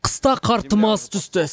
қыста қар тым аз түсті